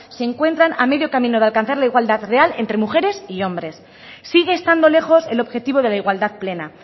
se encuentran a medio camino de alcanzar la igualdad real entre mujeres y hombres sigue estando lejos el objetivo de la igualdad plena